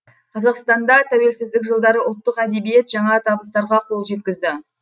қазақстанда тәуелсіздік жылдары ұлттық әдебиет жаңа табыстарға қол жеткізді